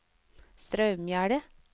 Straumgjerde